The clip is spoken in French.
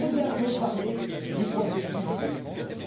Vous avez parlé du processus de Lisbonne.